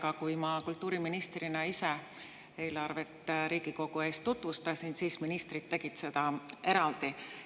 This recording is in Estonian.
Tookord olin ma kultuuriministrina ise Riigikogu ees ja tutvustasin eelarvet – siis tegid ministrid seda eraldi.